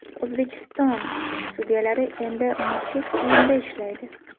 O‘zbekiston sudyalari endi maxsus kiyimda ishlaydi.